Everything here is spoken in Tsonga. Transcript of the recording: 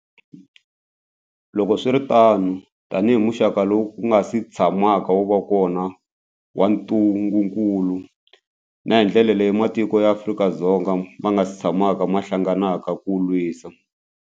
Loko swi ri tano, tanihi muxaka lowu wu nga si tshamaka wu va kona wa ntungukulu, na hi ndlela leyi matiko ya Afrika ma nga si tshamaka ma hlangana ku wu lwisa.